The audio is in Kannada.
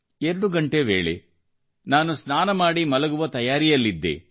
ರಾತ್ರಿ 2 ಗಂಟೆ ವೇಳೆ ಮಲಗುವ ತಯಾರಲ್ಲಿದ್ದೆ